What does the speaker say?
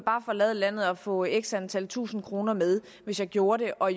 forlade landet og få x antal tusind kroner med hvis jeg gjorde det og